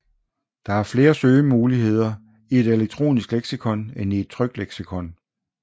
Der er flere søgemuligheder i et elektronisk leksikon end i et trykt leksikon